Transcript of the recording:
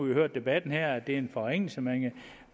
jo hørt debatten her og det er en forringelse